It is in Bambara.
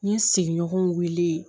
N ye sigiɲɔgɔnw wele